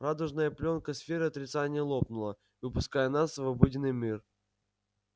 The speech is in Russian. радужная плёнка сферы отрицания лопнула выпуская нас в обыденный мир